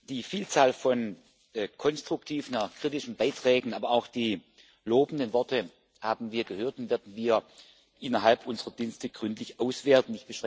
Die Vielzahl von konstruktiven und auch kritischen Beiträgen, aber auch die lobenden Worte haben wir gehört und werden sie innerhalb unserer Dienste gründlich auswerten.